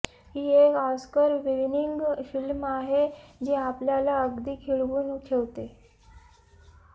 ही एक Oscar winning film आहे जी आपल्याला अगदी खिळवून ठेवते